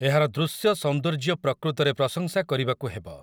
ଏହାର ଦୃଶ୍ୟ ସୌନ୍ଦର୍ଯ୍ୟ ପ୍ରକୃତରେ ପ୍ରଶଂସା କରିବାକୁ ହେବ ।